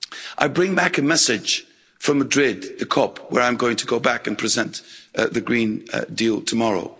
I bring back a message from Madrid the COP, where I'm going to go back and present the Green Deal tomorrow.